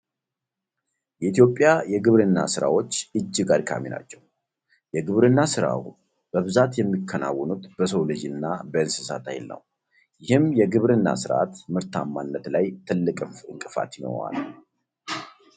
የኢትዮጵያ የግብርና ስራዎች እጅግ አድካሚ ናቸው። የግብርና ስራዎ በብዛት የሚከወኑት በሰው ልጅ እና በእንስሳት ሀይል ነው። ይህም የግብርና ስርዓት ምርታማነት ላይ ትልቅ እንቅፋት ይሆናል።